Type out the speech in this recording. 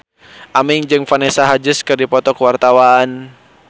Aming jeung Vanessa Hudgens keur dipoto ku wartawan